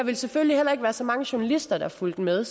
der selvfølgelig heller ikke være så mange journalister der fulgte med